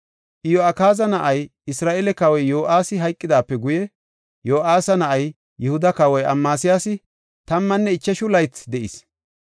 Iyo7akaaza na7ay, Isra7eele kawoy Yo7aasi hayqidaape guye, Yo7aasa na7ay, Yihuda kawoy Amasiyaasi tammanne ichashu laythi de7is.